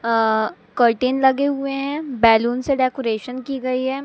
अ curtain लगे हुए हैं। बैलून से डेकोरेशन की गई है।